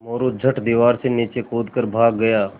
मोरू झट दीवार से नीचे कूद कर भाग गया